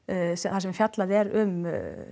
þar sem fjallað er um